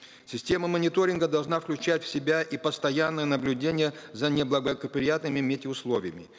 система мониторинга должна включать в себя и постоянное наблюдение за неблагоприятными метеоусловиями